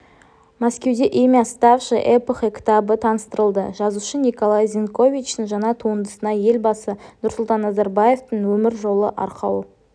мәскеуде имя ставшее эпохой кітабы таныстырылды жазушы николай зеньковичтің жаңа туындысына елбасы нұрсұлтан назарбаевтың өміржолы арқау